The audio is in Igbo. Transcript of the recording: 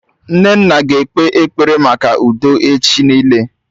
Nnanna ga-ekpe ekpere maka udo echi niile